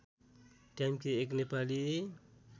ट्याम्के एक नेपाली